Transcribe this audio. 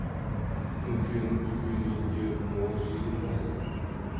күнкенің үлкен үйінде мол жиын бар екен